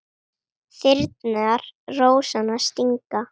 Þyrnar rósanna stinga.